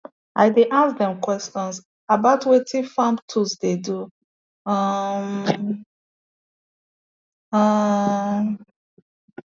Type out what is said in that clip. i dey ask dem question about wetin farm tools dey do um um